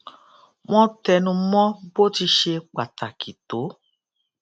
wón tẹnu mó bó ti ṣe pàtàkì tó